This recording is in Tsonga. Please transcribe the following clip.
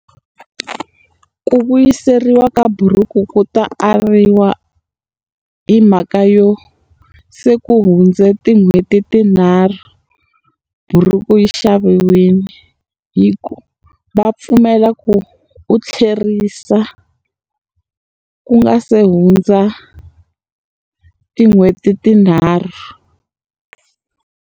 Ku vuyiseriwa ka buruku ku ta ariwa hi mhaka yo se ku hundza tin'hweti tinharhu buruku ri xaviwile. Hi ku va pfumela ku u tlherisa ku nga se hundza tin'hweti tinharhu.